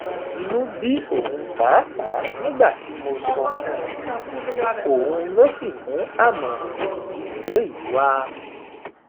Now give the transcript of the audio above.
inú bí òun pàápàá nígbà tí mo sọ fún un òun ló sì mú àmọràn ìjínigbé yìí wá